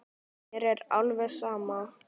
Mér er alveg sama